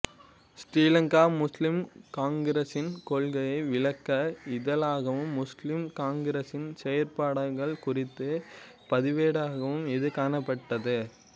ஸ்ரீலங்கா முஸ்லிம் காங்கிரஸின் கொள்ளை விளக்க இதழாகவும் முஸ்லிம் காங்கிரஸின் செயற்பாடுகள் குறித்த பதிவேடாகவும் இது காணப்பட்டது